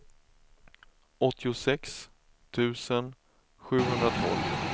åttiosex tusen sjuhundratolv